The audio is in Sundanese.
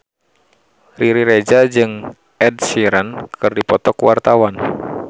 Riri Reza jeung Ed Sheeran keur dipoto ku wartawan